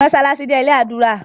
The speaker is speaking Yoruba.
Mossalassi jé ilé adura